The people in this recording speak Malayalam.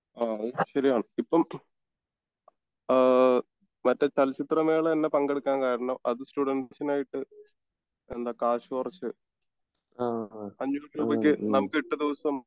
അത് ശെരിയാണ് ഇപ്പോം ആഹ് മറ്റേ ചലിച്ചിത്ര മേള തന്നെ പങ്കെടുക്കാൻ കാരണം അത് സ്റ്റുഡൻസിനായിട്ട് എന്താ കാശ് കുറച്ച് അഞ്ഞൂറ് രൂപക്ക് നമുക് എട്ട് ദിവസം